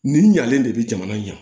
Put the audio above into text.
Nin ɲalen de bi jamana in na